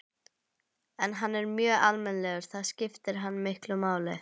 En hann er mjög almennilegur, það skiptir hana miklu máli.